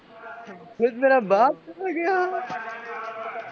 ખુદ મેરા બાપ ચલા ગયાં